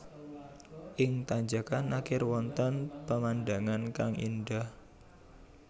Ing tanjakkan akhir wonten pemandangan kang indah